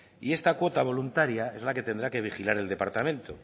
y esta cuota voluntaria es la que tendrá que vigilar el departamento